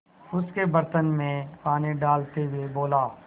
उसके बर्तन में पानी डालते हुए बोला